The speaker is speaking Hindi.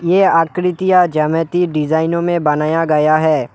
ये आकृतियां ज्यामिति डिजाइनों में बनाया गया है।